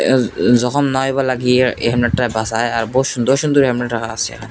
যখন নাই বা লাগিয়া এহানে ।